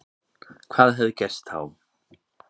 Hvað hefði gerst þá?